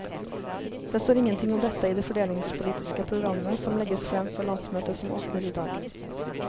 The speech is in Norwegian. Det står ingenting om dette i det fordelingspolitiske programmet som legges frem for landsmøtet som åpner i dag.